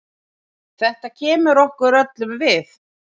Þetta kemur okkur öllum við.